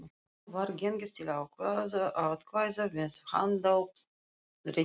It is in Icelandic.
Nú var gengið til atkvæða með handauppréttingu.